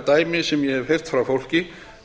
dæmi sem ég hef heyrt frá fólki